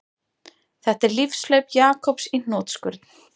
Þetta er lífshlaup Jakobs í hnotskurn